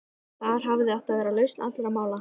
Þar hafði átt að vera lausn allra mála.